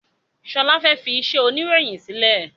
Sọlá fẹ́ fi iṣẹ́ oniroyin sílẹ̀